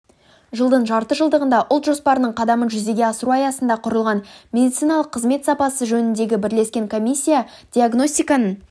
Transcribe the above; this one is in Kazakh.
жылдың жарты жылдығында ұлт жоспарының қадамын жүзеге асыру аясында құрылған медициналық қызмет сапасы жөніндегі бірлескен комиссиядиагностиканың